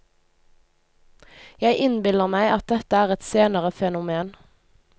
Jeg innbiller meg at dette er et senere fenomen.